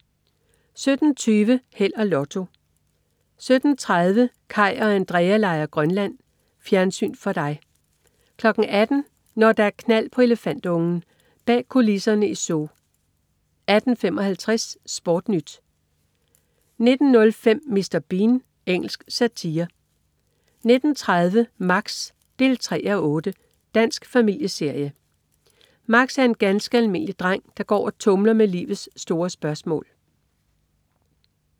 17.20 Held og Lotto 17.30 Kaj og Andrea leger Grønland. Fjernsyn for dig 18.00 Når der er knald på elefantungen. Bag kulisserne i zoo 18.55 SportNyt 19.05 Mr. Bean. Engelsk satire 19.30 Max 3:8. Dansk familieserie. Max er en ganske almindelig dreng, der går og tumler med livets store spørgsmål